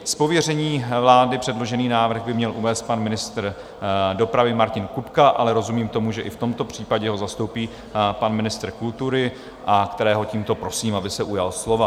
Z pověření vlády předložený návrh by měl uvést pan ministr dopravy Martin Kupka, ale rozumím tomu, že i v tomto případě ho zastoupí pan ministr kultury, kterého tímto prosím, aby se ujal slova.